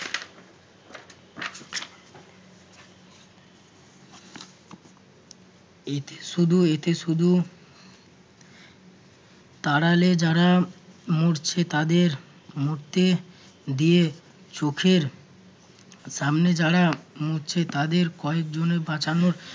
এতে শুধু~ এতে শুধু তাড়ালে যারা মরছে তাদের মরতে দিয়ে চোখের সামনে যারা মরছে তাদের কয়েকজনের বাঁচানোর